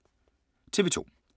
TV 2